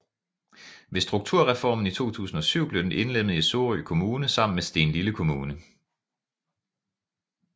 Ved strukturreformen i 2007 blev den indlemmet i Sorø Kommune sammen med Stenlille Kommune